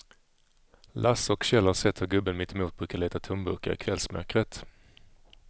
Lasse och Kjell har sett hur gubben mittemot brukar leta tomburkar i kvällsmörkret.